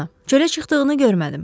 Çölə çıxdığını görmədim.